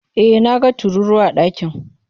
E, na ga tururuwa a ɗakin.